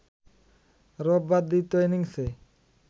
রোববার দ্বিতীয় ইনিংসে